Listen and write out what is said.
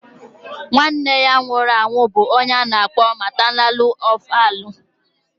Nwa Nne ya nwụrụ anwụ bụ ọnye ana akpọ maternalu orphanu.